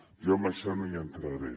jo en això no hi entraré